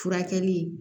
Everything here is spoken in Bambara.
Furakɛli